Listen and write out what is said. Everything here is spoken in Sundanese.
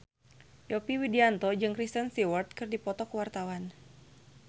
Yovie Widianto jeung Kristen Stewart keur dipoto ku wartawan